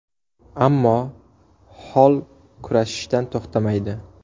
Ammo Holl kurashishdan to‘xtamaydi.